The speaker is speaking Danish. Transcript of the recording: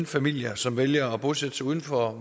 familier som vælger at bosætte sig uden for